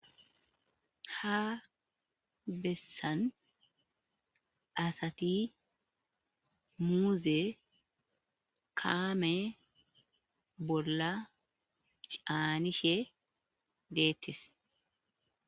ha bessan asati muuze kaame bolla caanishe deettes